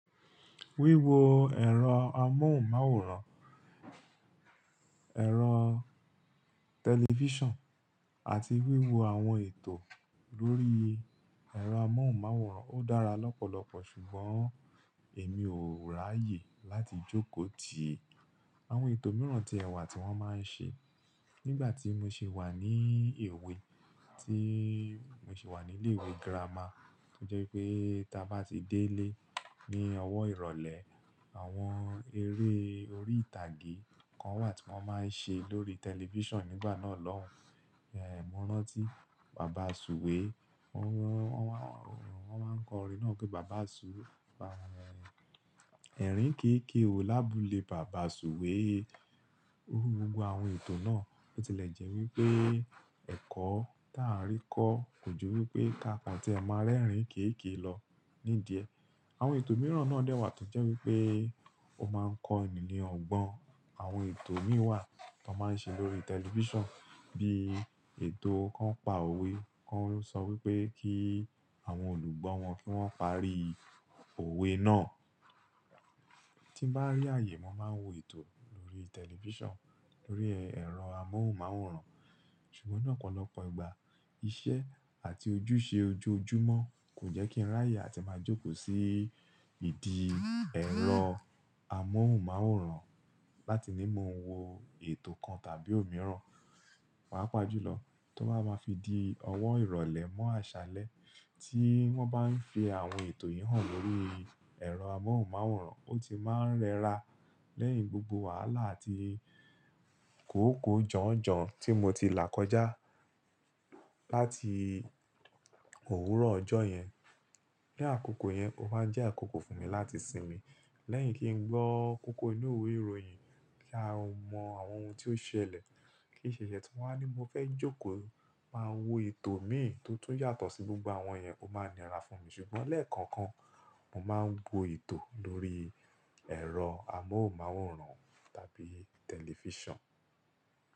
Wíwo ẹ̀rọ amóhùnmáwòrán, ẹ̀rọ tẹlifíṣàn àti wíwo àwọn ètò lórí ẹ̀rọ amóhùnmáwòrán ó dára lọ́pọ̀lọpọ̀ ṣùgbọ́n èmi ò ráyè láti jókòó ti àwọn ètò mìíràn tí ẹ wà tí wọ́n máa ń ṣe. Nígbà tí mo ṣi wà ní ewé, tí mo ṣi wà ní ilé ìwé girama, tó jẹ́ wípé tí a bá ti dé ilé ní ọwọ́ ìrọ̀lẹ́, àwọn eré orí ìtàgé kan wà tí wọ́n máa ń ṣe lórí tẹlifíṣàn nígbà náà lọ́hùn. Mo rántí bàbá Sùwé, wọ́n, wọ́n, wọ́n máa ń kọ orin náà pé Bàbá Sù-- ẹ̀rín kéékèè o lábúlé Bàbá Sùwé. Gbogbo àwọn ètò náà ó tilẹ̀ jẹ́ wípé ẹ̀kọ́ táà ń rí kọ́ kò jọ wípé káàkàn tí ẹ máa rẹ́rìn-ín kéékèè lọ nídiẹ. Àwọn ètò mìíràn náà dẹ́ wà tó jẹ́ wípé ó máa ń kọ ènìyàn ọgbọ́n. Àwọn ètò mìíràn tó máa ń ṣe lórí tẹlifíṣàn bí ètò kan pa òwe kan ló sọ wípé kí àwọn olùgbọ́ wọn kí wọ́n parí òwe náà. Tí bá rí àyè, mo máa ń wo ètò lórí tẹlifíṣàn, lórí ẹ̀rọ amóhùnmáwòrán ṣùgbọ́n lọ́pọ̀lọpọ̀ ìgbà, iṣẹ́ àti ojúṣe ojoojúmọ́ kò jẹ́ kí n ráyè láti máa jókòó sí ìdí ẹ̀rọ amóhùnmáwòrán láti ní mo wo ètò kan tàbí òmíràn. Pàpàjùlọ tó bá máa fi di ọwọ́ ìrọ̀lẹ́ mọ́ àṣálẹ́ tí wọ́n bá ń fi àwọn ètò yìí hàn lórí ẹ̀rọ amóhùnmáwòrán, ó ti máa ń rẹra lẹ́yìn gbogbo wàhálà àti kòókòó jọ̀njọ̀n tí mo ti là kọjá láti òwúrọ̀ ọjọ́ yẹn. Àkókò yẹn ó máa ń jẹ́ àkókò fún mi láti sinmi lẹ́yìn kí n gbọ́ kókó inú ìwé ìròyìn kí a mọ àwọn ohun tí ó ṣẹlẹ̀, kí ṣe ṣẹṣẹ tí wọ́n á ní mo fẹ́ jókòó máa wo ètò mìíràn tó tún yàtọ̀ sí gbogbo àwọn yẹn ó máa ń ni ara fún mi ṣùgbọ́n lẹ́ẹ̀kọ̀kan, mo máa ń wo ètò lórí ẹ̀rọ amóhùnmáwòrán tàbí tẹlifíṣàn.